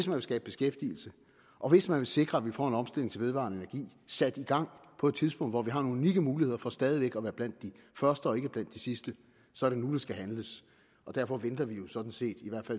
vil skabe beskæftigelse og hvis man vil sikre at vi får en omstilling til vedvarende energi sat i gang på et tidspunkt hvor vi har nogle unikke muligheder for stadig væk at være blandt de første og ikke blandt de sidste så er det nu der skal handles derfor venter vi jo sådan set